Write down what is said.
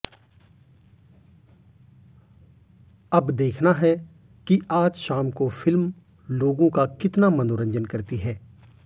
अब देखना है कि आज शाम को फिल्म लोगों का कितना मनोरंजन करती है